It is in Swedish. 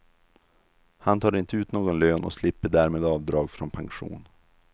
Han tar inte ut någon lön och slipper därmed avdrag från pension.